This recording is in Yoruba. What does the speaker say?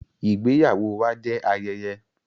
Ìgbéyàwó wà jẹ ayẹyẹ.